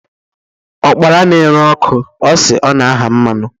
Ụ́kpara na-eré óku, osi o-na ahaa mmanu.